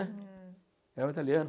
né. É o italiano.